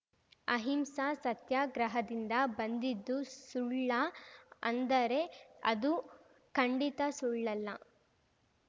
ಅಹಿಂಸಾ ಸತ್ಯಾಗ್ರಹದಿಂದ ಬಂದಿದ್ದು ಸುಳ್ಳಾ ಅಂದರೆ ಅದು ಖಂಡಿತಾ ಸುಳ್ಳಲ್ಲ